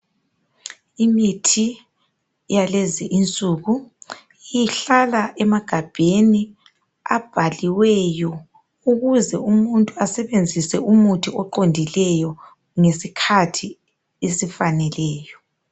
Imithi yalezi insuku ihlala emagabheni abhaliweyo ukuze umuntu asebenzise umuthi oqondileyo ngesikhathi esifaneleyo.